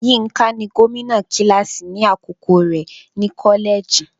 Yínká ni gómìnà kíláàsì ní àkókò rẹ̀ ní kọ́lẹ́ẹ̀jì.